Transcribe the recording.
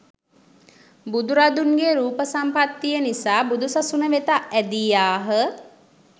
බුදුරදුන්ගේ රූප සම්පත්තිය නිසා බුදුසසුන වෙත ඇදී ආහ.